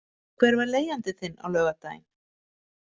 Hvar var leigjandi þinn á laugardaginn?